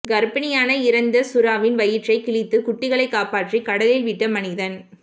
கர்ப்பிணியான இறந்த சுறாவின் வயிற்றை கிழித்து குட்டிகளை காப்பாற்றி கடலில் விட்ட மனிதன்